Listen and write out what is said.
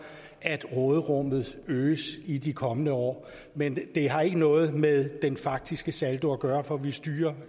at råderummet øges i de kommende år men det har ikke noget med den faktiske saldo at gøre for vi styrer